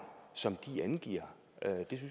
som der angives